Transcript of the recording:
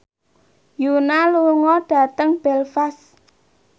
Yoona lunga dhateng Belfast